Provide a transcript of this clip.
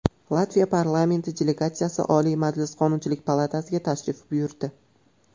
Latviya parlamenti delegatsiyasi Oliy Majlis Qonunchilik palatasiga tashrif buyurdi.